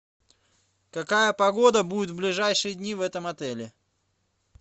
какая погода будет в ближайшие дни в этом отеле